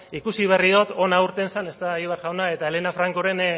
ikusi berri dut irten zen egibar jauna eta helena francoren